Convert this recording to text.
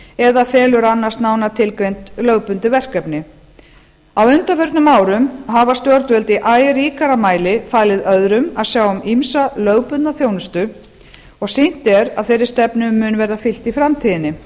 eða felur að annast nánar tilgreind lögbundin verkefni á undanförnum árum hafa stjórnvöld í æ ríkara mæli falið öðrum að sjá um ýmsa lögbundna þjónustu og sýnt er að þeirri stefnu mun verða fylgt í framtíðinni